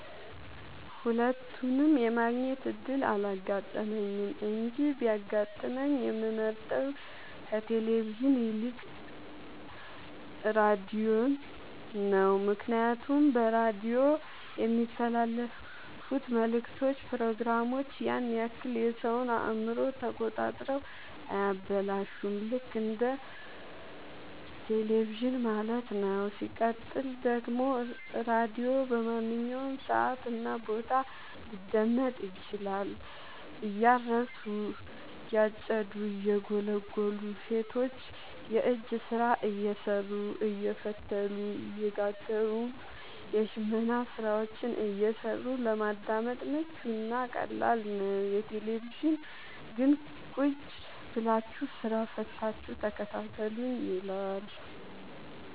ሁለቱንም የማግኘት እድል አላጋጠመኝም እንጂ ቢያጋጥመኝ የምመርጠው ከቴሌቪዥን ይልቅ ራዲዮን ነው ምክንያቱም በራዲዮ የሚተላለፍት መልክቶች ፕሮግራሞች ያን ያክል የሰወን አእምሮ ተቆጣጥረው አያበላሹም ልክ እንደ በቴለቪዥን ማለት ነው። ሲቀጥል ደግሞ ራዲዮ በማንኛውም ሰዓት እና ቦታ ሊደመጥ ይችላል። እያረሱ የጨዱ እየጎሉ ሰቶች የእጅ ስራ እየሰሩ አየፈተሉ እየጋገሩም የሽመና ስራዎችን እየሰሩ ለማዳመጥ ምቹ እና ቀላል ነው። የቴሌቪዥን ግን ቁጭብላችሁ ስራ ፈታችሁ ተከታተሉኝ ይላል።